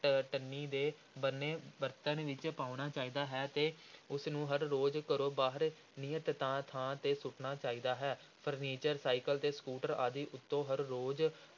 ਟ ਟੱਨੀ ਦੇ ਬਣੇ ਬਰਤਨ ਵਿਚ ਪਾਉਣਾ ਚਾਹੀਦਾ ਹੈ ਤੇ ਉਸ ਨੂੰ ਹਰ ਰੋਜ਼ ਘਰੋਂ ਬਾਹਰ ਨਿਯਤ ਤਾਂ ਥਾਂ ਤੇ ਸੁਟਣਾ ਚਾਹੀਦਾ ਹੈ furniture ਸਾਈਕਲ ਅਤੇ ਸਕੂਟਰ ਆਦਿ ਉੱਤੋਂ ਹਰ ਰੋਜ਼